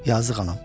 Yazıq anam.